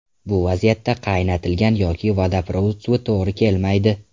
Bu vaziyatda qaynatilgan yoki vodoprovod suvi to‘g‘ri kelmaydi.